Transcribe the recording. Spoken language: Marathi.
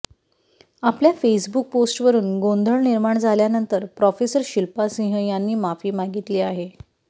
आपल्या फेसबुक पोस्टवरुन गोंधळ निर्माण झाल्यानंतर प्रोफेसर शिल्पा सिंह यांनी माफी मागितली आहे